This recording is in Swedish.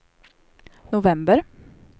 november